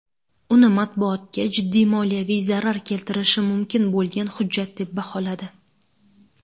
uni matbuotga jiddiy moliyaviy zarar keltirishi mumkin bo‘lgan hujjat deb baholadi.